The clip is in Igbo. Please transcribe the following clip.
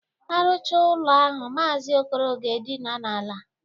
Arụcha ụlọ ahụ, Maazi Okoro ga-edina n'ala.